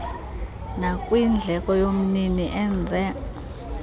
nakwindleko yomnini enze